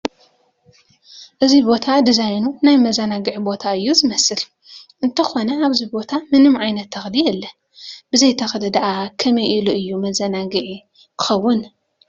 እዚ ቦታ ዲዛይኑ ናይ መዘናግዒ ቦታ እዩ ዝመስል፡፡ እንተኾነ ኣብዚ ቦታ ምንም ዓይነት ተኽሊ የለን፡፡ ብዘይ ተኽሊ ድአ ከመይ ኢሉ እዩ መዘናግዒ ክኸውን?